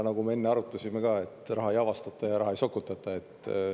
Nagu me ka enne arutasime, raha ei avastata ja raha ei sokutata.